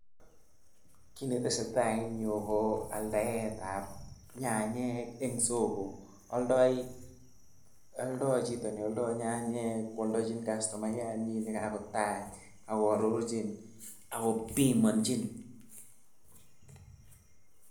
kit netesetai eng yu ko aldaetab nyanyek eng solo, aldae chito nealda nyanyek kwaldachin kastomayanyin nekakotach akoarorchin akobimanchin.